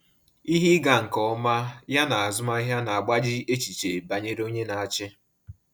Ihe ịga nke ọma ya na azụmahịa na-agbaji echiche banyere onye na-achị.